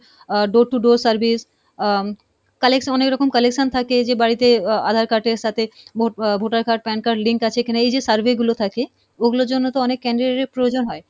ah door to door service uh um collection মানে এরকম collection থাকে যে বাড়িতে আহ aadhar card এর সাথে vote uh voter card PAN card link আছে কিনা, এই যে survey গুলো থাকে ওগুলোর জন্য তো অনেক candidate এর প্রয়োজন হয়,